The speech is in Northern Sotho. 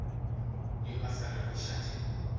yo a sa rego šate